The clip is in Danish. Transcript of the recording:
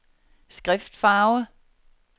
skriftfarve